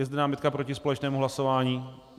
Je zde námitka proti společnému hlasování?